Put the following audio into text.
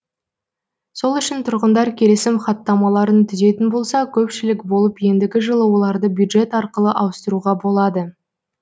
сол үшін тұрғындар келісім хаттамаларын түзетін болса көпшілік болып ендігі жылы оларды бюджет арқылы ауыстыруға болады